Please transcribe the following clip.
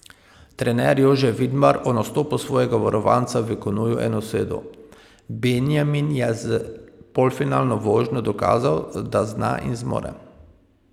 Trener Jože Vidmar o nastopu svojega varovanca v kanuju enosedu: 'Benjamin je s polfinalno vožnjo dokazal, da zna in zmore.